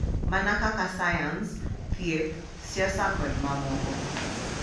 Mana kaka sayans, thieth, siasa, kod mamoko,